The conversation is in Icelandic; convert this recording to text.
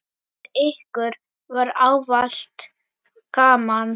Með ykkur var ávallt gaman.